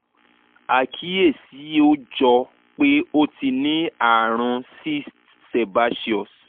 àkíyèsí ó jọ pé ó ti ní àrùn cyst sebaceous